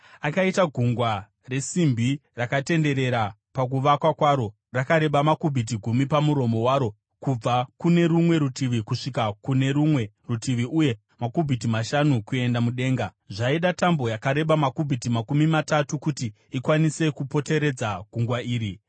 Akaita Gungwa resimbi, rakatenderera pakuvakwa kwaro, rakareba makubhiti gumi pamuromo waro kubva kune rumwe rutivi kusvika kune rumwe rutivi uye makubhiti mashanu kuenda mudenga. Zvaida tambo yakareba makubhiti makumi matatu kuti ikwanise kupoteredza gungwa iri.